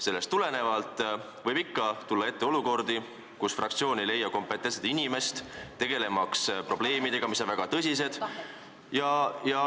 Sellest tulenevalt võib ikka tulla ette olukordi, kus fraktsioon ei leia kompetentset inimest tegelemaks probleemidega, mis on väga tõsised.